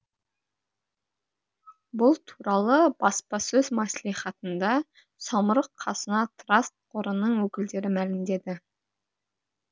бұл туралы баспасөз мәслихатында самұрық қазына траст қорының өкілдері мәлімдеді